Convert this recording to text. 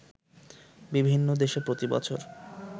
বিভিন্ন দেশে প্রতি বছর